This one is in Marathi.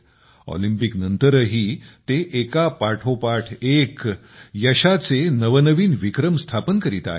ऑलिपिंकनंतरही ते एकापाठोपाठ एक यशाचे नवनवीन विक्रम स्थापित करीत आहेत